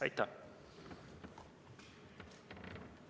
Aitäh!